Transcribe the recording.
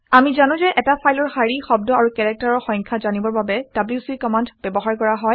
আমি জানো যে এটা ফাইলৰ শাৰী শব্দ আৰু কেৰেক্টাৰৰ সংখ্যা জানিবৰ বাবে ডব্লিউচি কমাণ্ড ব্যৱহাৰ কৰা হয়